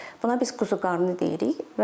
Buna biz quzuqarnı deyirik.